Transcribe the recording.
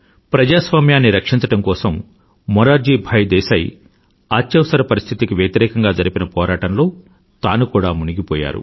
ప్రజాస్వామ్యాన్ని రక్షించడం కోసం మురార్జీ భాయ్ దేశాయ్ అత్యవసర పరిస్థితిEmergencyకి వ్యతిరేకంగా జరిపిన పోరాటంలో తాను కూడా మునిగిపోయాడు